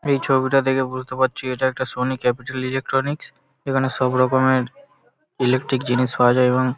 এই ছবিটা দেখে বুঝতে পারছি এটা একটা সোনি ক্যাপিটাল ইলেকট্রনিক্স এখানে সবরকমের ইলেকট্রিক জিনিস পাওয়া যায় এবং--